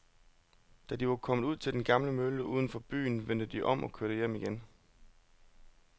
Da de var kommet ud til den gamle mølle uden for byen, vendte de om og kørte hjem igen.